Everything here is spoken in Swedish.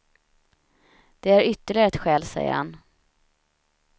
Det är ytterligare ett skäl, säger han.